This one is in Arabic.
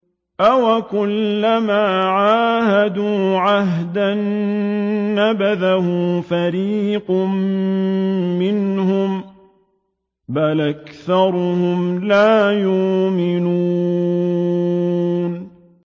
أَوَكُلَّمَا عَاهَدُوا عَهْدًا نَّبَذَهُ فَرِيقٌ مِّنْهُم ۚ بَلْ أَكْثَرُهُمْ لَا يُؤْمِنُونَ